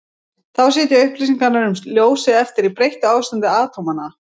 þá sitja upplýsingarnar um ljósið eftir í breyttu ástandi atómanna